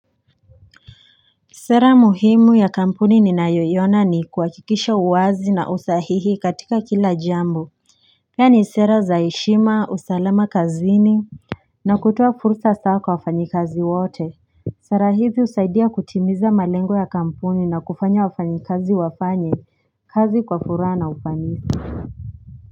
Sera muhimu ya kampuni ninayoiona ni kuhakikisha uwazi na usahihi katika kila jambo. Yaani sera za heshima usalama kazini na kutoa fursa hasaa kwa wafanyikazi wote Sera hivi husaidia kutimiza malengo ya kampuni na kufanya wafanyikazi wafanye kazi kwa furaha na ufanisi.